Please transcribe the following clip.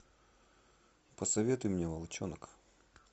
посоветуй мне волчонок